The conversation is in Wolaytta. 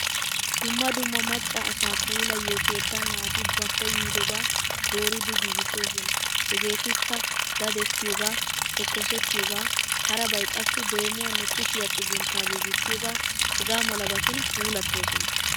Dumma dumma macca asaa puulayiyo keettan naati ba koyyobaa dooridi giigoosona. Heegeetikka dadettiyoogaa, tokkosettiyoogaa, harabay qassi deemuwanne kushiya xugunttaa giigissiyoogaa hegaa malabatun puulattoosona.